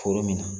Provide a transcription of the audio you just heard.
Foro min na